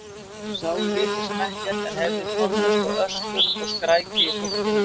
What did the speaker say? Þau sáu lítið sem ekkert, en heyrðu tónlist og öskur og skræki í fólkinu.